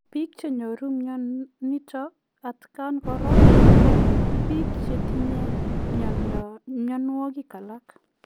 Piik chenyoruu mionitok atkaan koraa kopiik chetinyee mionwogik alaak